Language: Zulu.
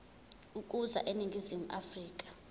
ukuza eningizimu afrika